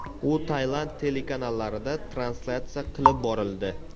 U Tailand telekanallarida translyatsiya qilib borildi.